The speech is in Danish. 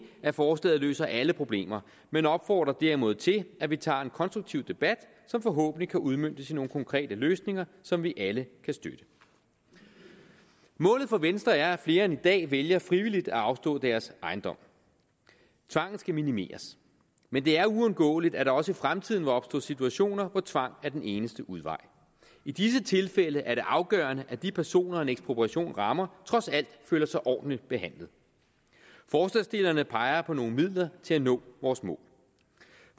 at forslaget løser alle problemer men opfordrer derimod til at vi tager en konstruktiv debat som forhåbentlig kan udmøntes i nogle konkrete løsninger som vi alle kan støtte målet for venstre er at flere end i dag vælger frivilligt at afstå deres ejendom tvangen skal minimeres men det er uundgåeligt at der også i fremtiden vil opstå situationer hvor tvang er den eneste udvej i disse tilfælde er det afgørende at de personer en ekspropriation rammer trods alt føler sig ordentligt behandlet forslagsstillerne peger på nogle midler til at nå vores mål